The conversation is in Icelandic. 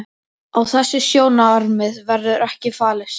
Á þessi sjónarmið verður ekki fallist.